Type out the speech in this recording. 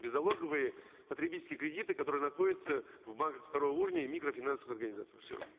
беззалоговые потребительские кредиты которые находятся в банках второго уровня и в микрокредитных организациях все